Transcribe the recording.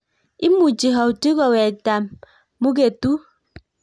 Imuchi Houti kowektaa muketuut